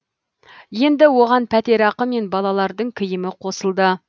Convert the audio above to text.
енді оған пәтерақы мен балалардың киімі қосылды